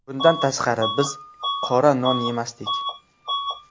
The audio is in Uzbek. Bundan tashqari biz qora non yemasdik.